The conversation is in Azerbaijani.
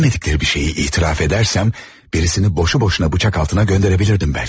Bilmədikləri bir şeyi etiraf edərsəm, birisini boşu-boşuna bıçaq altına göndərə bilirdim bəlki.